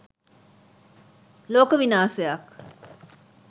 ලෝක විනාසයක්.